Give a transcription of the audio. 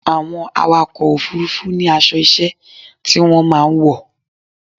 Àwọn awakọ̀ òfurufú ní aṣọ iṣẹ́ tí wọ́n máa ń wọ̀.